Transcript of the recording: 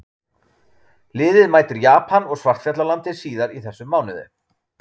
Liðið mætir Japan og Svartfjallalandi síðar í þessum mánuði.